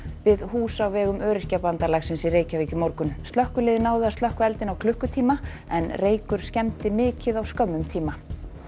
við hús á vegum Öryrkjabandalagsins í Reykjavík í morgun slökkvilið náði að slökkva eldinn á klukkutíma en reykur skemmdi mikið á skömmum tíma